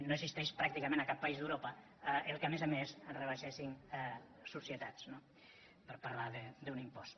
no existeix pràcticament a cap país d’europa que a més a més rebaixéssim societats no per parlar d’un impost